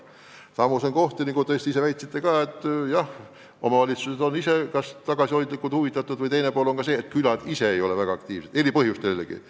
Samas on paikkondi, nagu teiegi väitsite, kus omavalitsused on külaliikumisest tagasihoidlikult huvitatud või siis külad ise ei ole väga aktiivsed – eri põhjustel, jällegi.